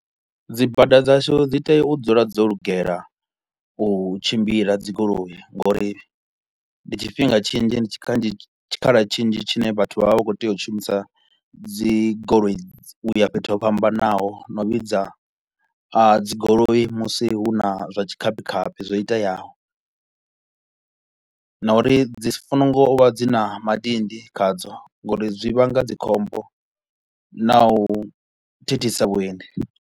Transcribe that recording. Dzibada dzashu dzi tea u dzula dzo lugelela u tshimbila dzi goloi ngauri ndi tshifhinga tshinzhi ndi tshikanzhi tshikhala tshinzhi tshine vhathu vha vha vha kho u tea u shumisa dzi goloi u ya fhethu ho fhambanaho na u vhidza a dzi goloi musi hu na zwa tshikhaphikhaphi zwo iteaho na uri dzi so ngo vha dzi na madindi khadzo ngauri zwi vhanga dzikhombo na u thithisa vhuendi.